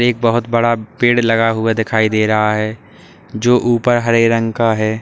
एक बहोत बड़ा पेड़ लगा हुआ दिखाई दे रहा है जो ऊपर हरे रंग का है।